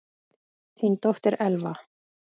Þín dóttir, Elfa.